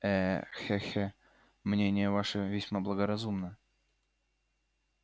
э-хе-хе мнение ваше весьма благоразумно